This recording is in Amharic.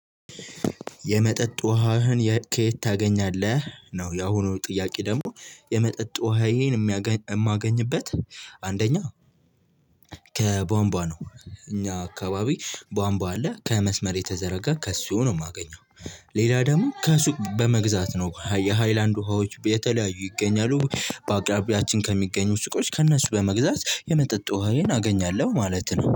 የመጠጥ ውሃህን ከየት ታገኛለህ ነው? ያሁኑ ጥያቄ ደግሞ የመጠጥ ውሃዬን እማገኝበት አንደኛ ከቧንቧ ነው። እኛ አካባቢ ቧንቧ አለ ከመስመር የተዘረጋ ከሱ ነው የማገኘው። ሌላ ደግሞ ከሱቅ በመግዛት ነው የሃይላንድ ውሃዎች የተለያዩ ይገኛሉ በአቅራቢያችን ከሚገኙ ስቆች ከእነሱ በመግዛት የመጠጥ ውሃዬን አገኛለሁ ማለት ነው